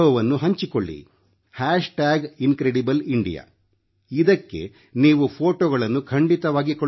Incredible India hashtag incredible India ಇದಕ್ಕೆ ನೀವು ಫೋಟೋಗಳನ್ನು ಖಂಡಿತವಾಗಿ ಕಳುಹಿಸಿ